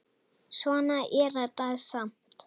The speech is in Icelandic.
Svona er þetta samt.